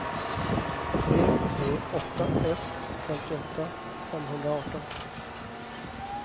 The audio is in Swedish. tre tre åtta ett femtioåtta femhundraarton